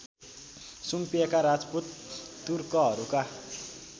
सुम्पिएका Rajput तुर्कहरूका